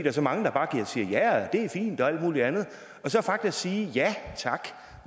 er så mange der bare siger ja det er fint og alt muligt andet at sige